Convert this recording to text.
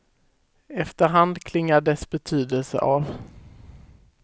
Efter hand klingar dess betydelse av.